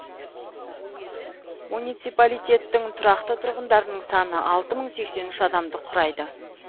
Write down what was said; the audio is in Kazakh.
муниципалитеттің тұрақты тұрғындарының саны алты мың сексен үш адамды құрайды